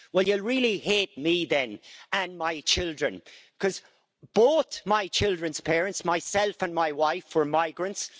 Well, you'll really hate me then, and my children, because both my children's parents myself and my wife were migrants.